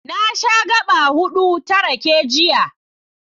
Na sha gaɓa huɗu ta rake, jiya.